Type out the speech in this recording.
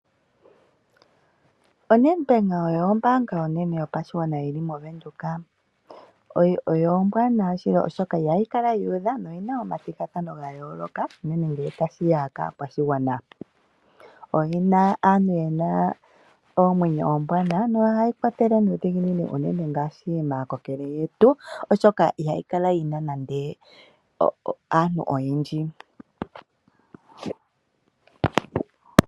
ONedbank oyo ombaanga onene yopashigwana yili moVenduka ombwaanawa shili oshoka ihayi kala yuudha. Ohayi kala yina omathigathano ga yooloka. Oyina aantu yena oomwenyo ombwaanawa nohaya gandja omayakulo omawanawa uune tuu kaakulupe oshoka ihayi kala yina aantu oyendji.